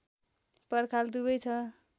पर्खाल दुवै छ